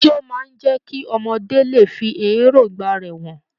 Ijo máa n jẹ kí ọmọdé lè fí èròngbà rẹ hàn.